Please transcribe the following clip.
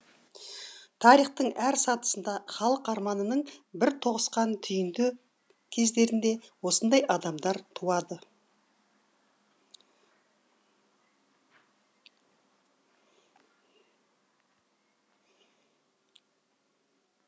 тарихтың әр сатысында халық арманының бір тоғысқан түйінді кездерінде осындай адамдар туады